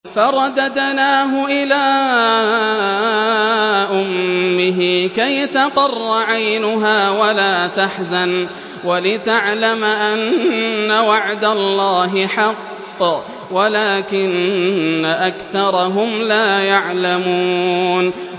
فَرَدَدْنَاهُ إِلَىٰ أُمِّهِ كَيْ تَقَرَّ عَيْنُهَا وَلَا تَحْزَنَ وَلِتَعْلَمَ أَنَّ وَعْدَ اللَّهِ حَقٌّ وَلَٰكِنَّ أَكْثَرَهُمْ لَا يَعْلَمُونَ